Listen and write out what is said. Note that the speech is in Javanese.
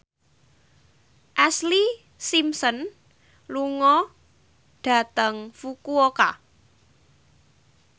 Ashlee Simpson lunga dhateng Fukuoka